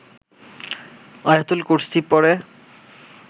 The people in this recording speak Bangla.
আয়াতুল কুরশি পড়ে